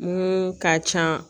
Mun ka can